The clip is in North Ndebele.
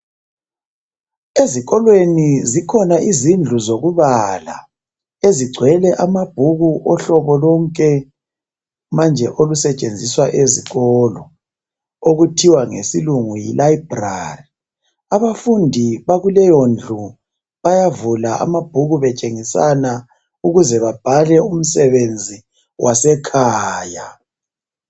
Ezikolweni zikhona izindlu zokubala ezigcwele amabhuku ohlobo lonke manje olusetshenziswa ezikolo okuthiwa ngesilungu yilibrary. Abafundi bakuleyondlu bayavula amabhuku betshengisana ukuze babhale umsebenzi wasekhaya.